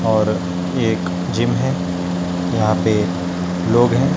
और एक जिम है यहां पे लोग हैं।